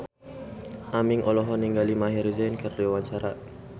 Aming olohok ningali Maher Zein keur diwawancara